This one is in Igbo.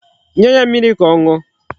Nye ya mmiri ka ọ ṅụọ.